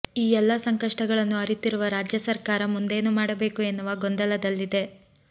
ಈ ಎಲ್ಲಾ ಸಂಕಷ್ಟಗಳನ್ನು ಅರಿತಿರುವ ರಾಜ್ಯ ಸರ್ಕಾರ ಮುಂದೇನು ಮಾಡಬೇಕು ಎನ್ನುವ ಗೊಂದಲದಲ್ಲಿದೆ